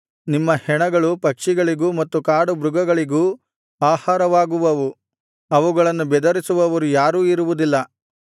ನಿಮ್ಮ ಹೆಣಗಳು ಪಕ್ಷಿಗಳಿಗೂ ಮತ್ತು ಕಾಡು ಮೃಗಗಳಿಗೂ ಆಹಾರವಾಗುವವು ಅವುಗಳನ್ನು ಬೆದರಿಸುವವರು ಯಾರೂ ಇರುವುದಿಲ್ಲ